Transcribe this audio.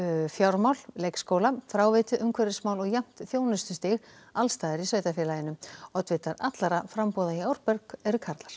fjármál leikskóla fráveitu umhverfismál og jafnt þjónustustig alls staðar í sveitarfélaginu oddvitar allra framboða í Árborg eru karlar